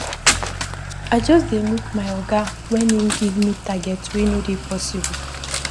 I just dey look my oga wen im give me target wey no dey possible.